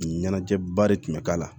Ɲɛnajɛba de tun bɛ k'a la